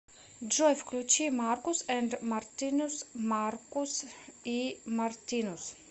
джой включи маркус энд мартинус маркус и мартинус